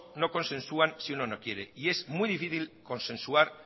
consensua si uno quiere y es muy difícil consensuar